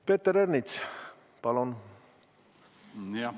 Peeter Ernits, palun!